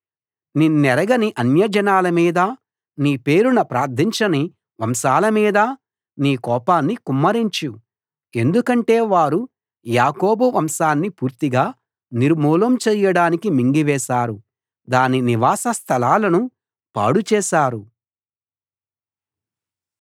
నిన్నెరగని అన్యజనాల మీదా నీ పేరున ప్రార్థించని వంశాల మీదా నీ కోపాన్ని కుమ్మరించు ఎందుకంటే వారు యాకోబు వంశాన్ని పూర్తిగా నిర్మూలం చేయడానికి మింగివేశారు దాని నివాస స్థలాలను పాడు చేశారు